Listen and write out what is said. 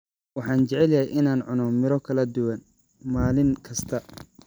Waxaan jeclahay in aan cuno miro kala duwan maalin kasta.